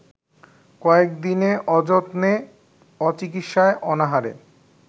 কয়েকদিনে অযত্নে অচিকিৎসায় অনাহারে